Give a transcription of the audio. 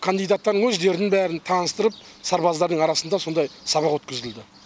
кандидаттардың өздерін бәрін таныстырып сарбаздардың арасында сондай сабақ өткізілді